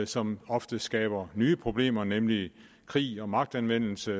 som ofte skaber nye problemer nemlig krig og magtanvendelse